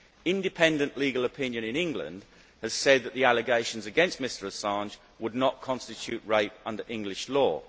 Independent legal opinion in England has said that the allegations against Mr Assange would not constitute rape under English law.